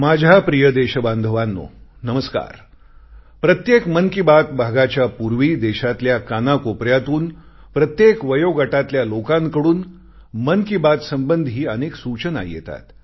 माझ्या प्रिय देशबांधवांनो नमस्कार प्रत्येक मन की बात भागाच्या पूर्वी देशातल्या कानाकोपऱ्यातून प्रत्येक वयोगटातल्या लोकांकडून मन की बात संबंधी अनेक सूचना येतात